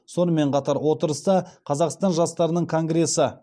сонымен қатар отырыста қазақстан жастарының конгресі